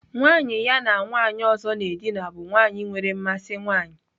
Nwanyị ya na nwanyị ọzọ na-edina bụ nwanyị nwere mmasị nwanyị.